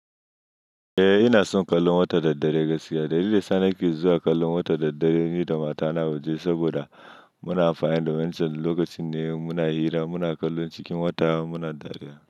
Eh ina son kallon wata da dare gaskiya. Dalilin da yasa nake zuwa kallon wata da dare ni da matana a waje saboda muna amfani da wancan lokacin ne muna hira muna kallon cikin wata muna dariya.